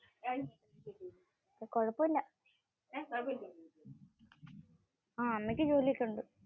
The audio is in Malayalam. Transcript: കൊഴപ്പമില്ല. അമ്മക്ക് ജോലി ഒക്കെ ഉണ്ട്.